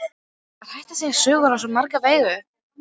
Það er hægt að segja sögur á svo marga vegu.